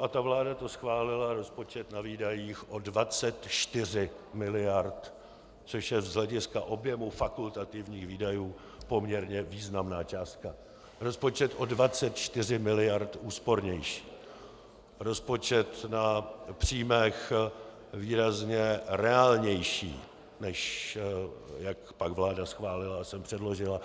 a ta vláda to schválila, rozpočet na výdajích o 24 miliard, což je z hlediska objemu fakultativních výdajů poměrně významná částka, rozpočet o 24 miliard úspornější, rozpočet na příjmech výrazně reálnější, než jak pak vláda schválila a sem předložila.